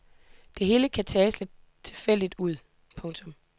Det hele kan tage sig lidt tilfældigt ud. punktum